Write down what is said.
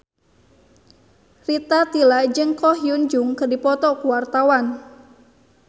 Rita Tila jeung Ko Hyun Jung keur dipoto ku wartawan